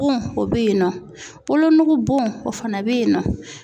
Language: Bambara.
Bon o bɛ yen nɔ wolonugu bon o fana bɛyinnɔ.